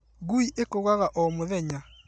Ngui ĩkũgaga ũmũthenya